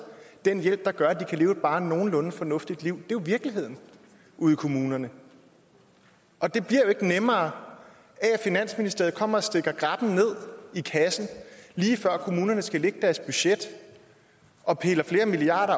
den hjælp der gør at de kan leve et bare nogenlunde fornuftigt liv det er virkeligheden ude i kommunerne og det bliver ikke nemmere af at finansministeriet kommer og stikker grabben ned i kassen lige før kommunerne skal lægge deres budgetter og piller flere milliarder